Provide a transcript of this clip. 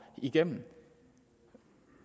igennem